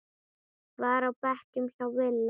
var á bekknum hjá Villa.